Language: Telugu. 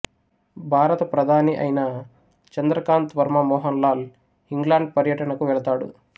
భారత ప్రధాని అయిన చంద్రకాంత్ వర్మ మోహన్ లాల్ ఇంగ్లాండ్ పర్యటనకు వెళతాడు